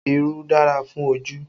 Irú dára fún ojú